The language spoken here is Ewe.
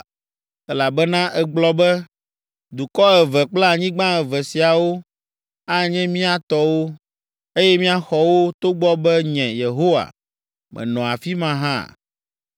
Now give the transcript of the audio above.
“Elabena ègblɔ be, ‘Dukɔ eve kple anyigba eve siawo anye mía tɔwo, eye míaxɔ wo’ togbɔ be nye, Yehowa, menɔ afi ma hã.